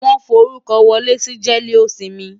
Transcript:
Wàá forúkọ wọlé sí jẹ́lósinmi!